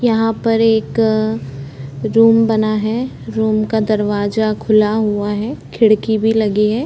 यहाँ पर एक रूम बना है रूम का दरवाजा खुला हुआ है खिड़की भी लगी है।